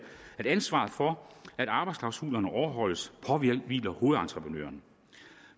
at ansvaret for at arbejdsklausulerne overholdes påhviler hovedentreprenøren